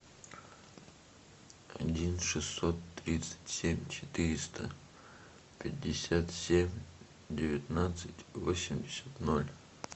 один шестьсот тридцать семь четыреста пятьдесят семь девятнадцать восемьдесят ноль